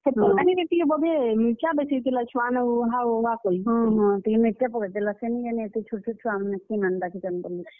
ହେ ତର୍ କାରି ରେ ବୋଧେ ମିର୍ ଚା ବେଶୀ ହେଇଥିଲା, ଛୁଆ ମାନ୍ କୁ ହାଓ ରାଗ୍ କରି ସେ ନି ଜାନି ହେତେ ଛୋଟ୍ ଛୋଟ୍ ଛୁଆମାନେ ଥି ଡାକିଛନ୍ ବଲି।